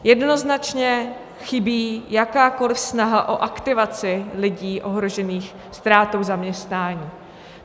Jednoznačně chybí jakákoliv snaha o aktivaci lidí ohrožených ztrátou zaměstnání.